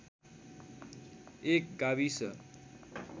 एक गाविस